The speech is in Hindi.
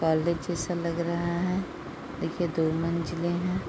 कॉलेज जैसा लग रहा है | देखिये दो मंजिलें हैं |